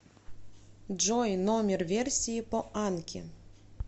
джой номер версии по анки